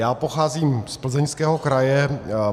Já pocházím z Plzeňského kraje.